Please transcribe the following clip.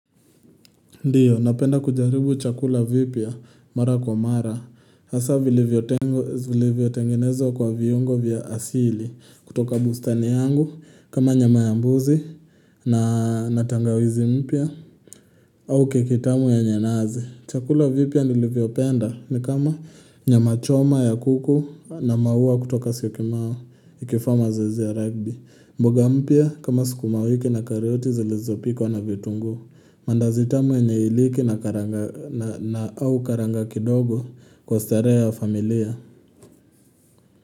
Ndiyo, napenda kujaribu chakula vipya mara kwa mara, hasa vilivyotengenezwa kwa viungo vya asili kutoka bustani yangu, kama nyama ya mbuzi na na tangawizi mpya au kekibtamu ya nanasi Chakula vipya nilivyo penda ni kama nyamachoma ya kuku na maua kutoka syokimao nikifanya mazoeizi ya rugby. Mboga mpya kama sukumawiki na karoti zilizo pikwa na vitunguu. Mandazi tamu yenye iliki na au karanga kidogo kwa starehe ya familia.